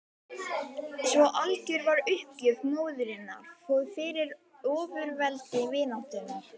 Svo algjör var uppgjöf móðurinnar fyrir ofurveldi vináttunnar.